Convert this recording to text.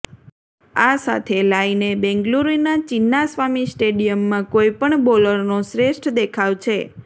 આ સાથે લાયને બેંગ્લુરૂના ચિન્નાસ્વામી સ્ટેડિયમમાં કોઈ પણ બોલરનો શ્રેષ્ઠ દેખાવ છે